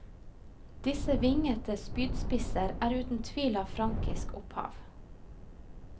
Disse vingete spydspisser er uten tvil av frankisk opphav.